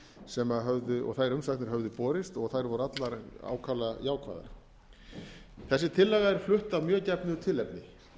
sem höfðu og þær umsagnir höfðu borist og þær voru allar ákaflega jákvæðar þessi tillaga er flutt af mjög gefnu tilefni